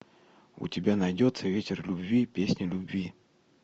у тебя найдется ветер любви песня любви